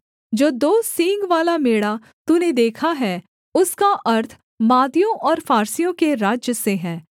जो दो सींगवाला मेढ़ा तूने देखा है उसका अर्थ मादियों और फारसियों के राज्य से है